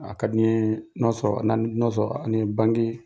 A ka di n ye n'a sɔrɔ an ni banki